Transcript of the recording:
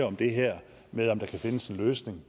om det her med om der kan findes en løsning